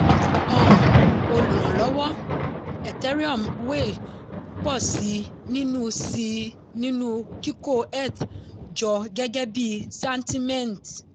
um olùrànlọ́wọ́ ethereum whale pọ̀ sí i nínú sí i nínú kíkó eth jọ gẹ́gẹ́ bí santiment.